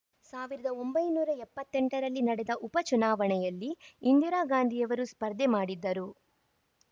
ಸಾವಿರದ ಒಂಬೈನೂರ ಎಪ್ಪತ್ತ್ ಎಂಟರಲ್ಲಿ ನಡೆದ ಉಪ ಚುನಾವಣೆಯಲ್ಲಿ ಇಂದಿರಾಗಾಂಧಿಯವರು ಸ್ಪರ್ಧೆ ಮಾಡಿದ್ದರು